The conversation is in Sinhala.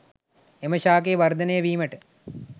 එම ශාකය වර්ධනය වීමට